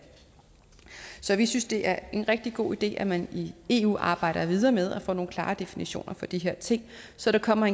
så vi synes det er en rigtig god idé at man i eu arbejder videre med at få nogle klare definitioner for de her ting så der kommer